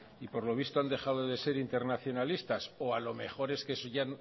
y por lo visto han dejado de ser internacionalistas o a lo mejor es que eso ya